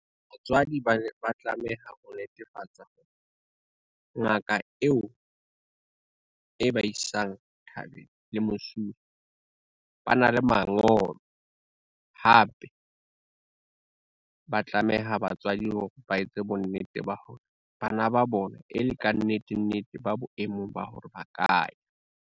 Batswadi ba tlameha ho netefatsa hore, ngaka eo e ba isang thabeng le mosuwe, ba na le mangolo, hape ba tlameha batswadi hore ba etse bonnete ba hore bana ba bona e le kannetenete ba boemong ba hore ba kaya.